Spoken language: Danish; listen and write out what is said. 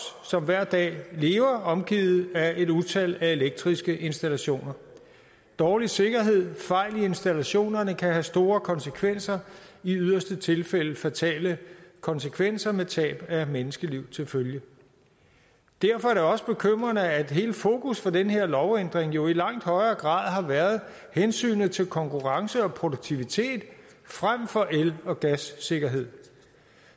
som hver dag lever omgivet af et utal af elektriske installationer dårlig sikkerhed og fejl i installationerne kan have store konsekvenser i yderste tilfælde fatale konsekvenser med tab af menneskeliv til følge derfor er det også bekymrende at hele fokus for den her lovændring jo i langt højere grad har været hensynet til konkurrence og produktivitet frem for el og gassikkerhed